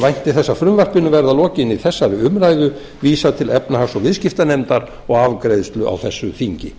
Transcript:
vænti þess að frumvarpinu verði að lokinni þessari umræðu vísað til efnahags og viðskiptanefndar og afgreiðslu á þessu þingi